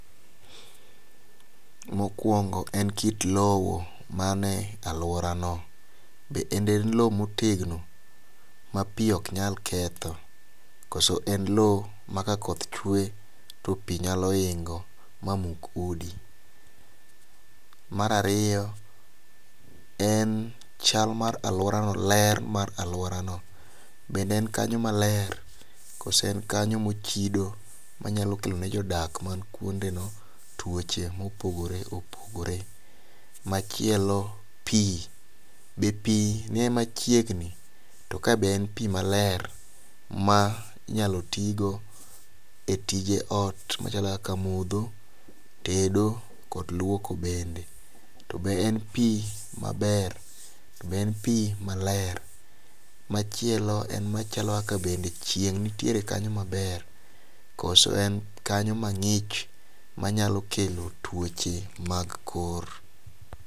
Mokuongo' en kit lowo mane aluorano, bende en lowo motegno ma pi oknyal ketho, koso en lowo ma ka koth chwe to pi nyalo hingo' ma muk udi. Mar ariyo en chal ma aluorano ler ma aluorano, bende en kany maler koso en kanyo mochido manyalo kelone jodak manikuondeno tuoche mopogore opogore, machielo pi, be pi ni machiegni to ka be en pi maler ma inyalo ti go e tije ot machalo kaka motho, tedo kod luoko bende, to be en pi maber, to be en pi maler, machielo en machalo kaka to bende chieng' entiere kanyo maber, koso en kanyo mangi'ch manyalo kelo tuoche mag kor.